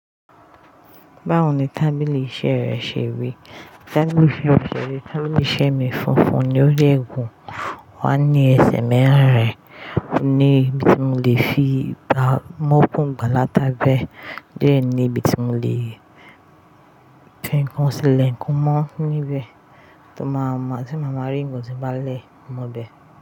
Báwo ni tábìlì iṣẹ́ rẹ ṣe rí? Tábìlì iṣẹ́ mi ṣe rí, tábìlì iṣẹ́ mi funfun ni ó dẹ̀ gún, ó wá ní ẹsẹ̀ mẹ́rin, o ní ibi tí mo lè fi tá, mú okùn bàlátà gbé, o de ní ibi tí mo lèti ohun sì lẹ ǹkan mọ́ níbẹ̀, tí mo bá, tí màmá rí ohun tí bàá lè mú bẹ́ẹ̀.